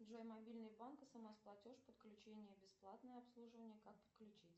джой мобильный банк смс платеж подключение бесплатное обслуживание как подключить